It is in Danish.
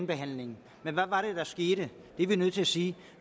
behandling men hvad var det der skete det er vi nødt til at sige